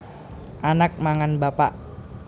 Anak mangan bapak